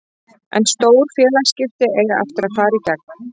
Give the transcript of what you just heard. En stór félagsskipti eiga eftir að fara í gegn.